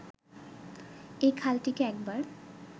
এই খালটিকে একবার